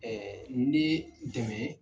ni dɛmɛ